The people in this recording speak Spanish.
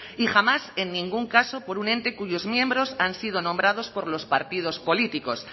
y jamás en ningún caso por un ente cuyos miembros han sido nombrados por los partidos políticos